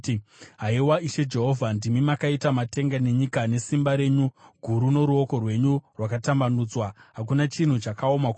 “Haiwa, Ishe Jehovha, ndimi makaita matenga nenyika nesimba renyu guru noruoko rwenyu rwakatambanudzwa. Hakuna chinhu chakaoma kwamuri.